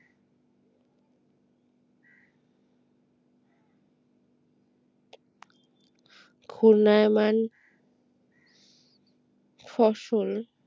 খুন্নায়ওমান ফসল